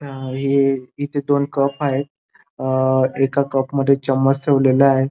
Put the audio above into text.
अ ही इथे दोन कप आहेत अ एका कप मध्ये चमच ठेवलेला आहे.